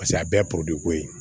Paseke a bɛɛ ye ko ye